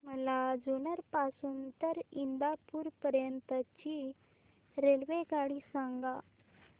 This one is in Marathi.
मला जुन्नर पासून तर इंदापूर पर्यंत ची रेल्वेगाडी सांगा